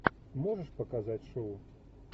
можешь показать шоу